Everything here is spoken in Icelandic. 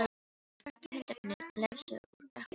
Og svörtu hundarnir glefsa úr öllum áttum.